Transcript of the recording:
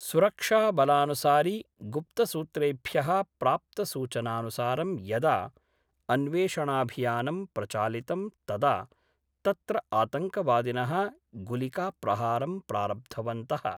सुरक्षाबलानुसारि गुप्तसूत्रेभ्यः प्राप्तसूचनानुसारं यदा अन्वेषणाभियानं प्रचालितं तदा तत्र आतंकवादिनः गुलिकाप्रहारं प्रारब्धवन्तः।